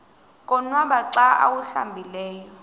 konwaba xa awuhlambileyo